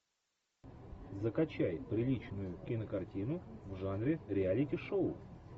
закачай приличную кинокартину в жанре реалити шоу